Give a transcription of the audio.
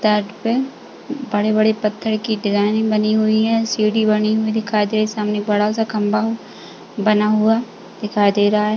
तट पे बड़े-बड़े पत्थर की डिजाइने बनी हुई हैं। सीढ़ी बनी हुई दिखाई दे रही है। सामने बड़ा सा खंभा बना हुआ दिखाई दे रहा है।